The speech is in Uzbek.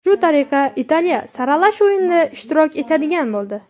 Shu tariqa Italiya saralash o‘yinida ishtirok etadigan bo‘ldi.